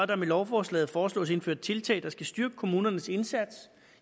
der med lovforslaget foreslås indført tiltag der skal styrke kommunernes indsats